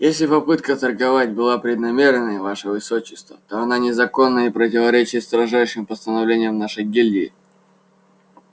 если попытка торговать была преднамеренной ваше высочество то она незаконна и противоречит строжайшим постановлениям нашей гильдии